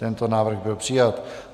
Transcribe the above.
Tento návrh byl přijat.